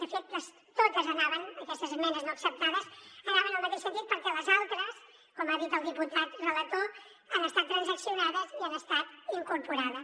de fet totes aquestes esmenes no acceptades anaven en el mateix sentit perquè les altres com ha dit el diputat relator han estat transaccionades i han estat incorporades